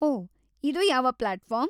ಓಹ್‌, ಇದು ಯಾವ್ ಪ್ಲಾಟ್‌ಫಾರ್ಮ್?